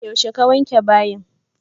Yaushe ka wanke bayin?